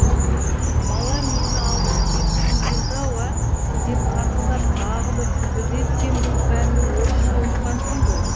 бала мені алдап кеткің келді ау ә деп қарқылдап тағы бір күлді де сен бұл пәнді орысша оқығансың ғой